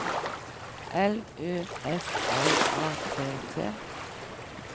L Ø S L A T T